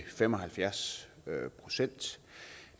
fem og halvfjerds procent